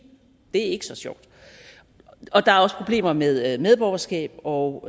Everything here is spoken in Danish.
det er ikke så sjovt der er også problemer med medborgerskab og